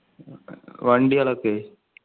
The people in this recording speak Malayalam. വണ്ടികളൊക്കെ